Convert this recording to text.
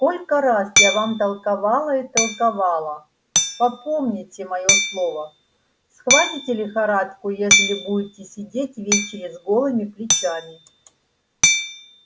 сколько раз я вам толковала и толковала попомните моё слово схватите лихорадку ежели будете сидеть ввечеру с голыми плечами